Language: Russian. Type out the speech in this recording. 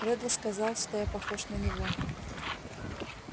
реддл сказал что я похож на него